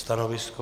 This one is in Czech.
Stanovisko?